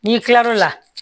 N'i kilal'o la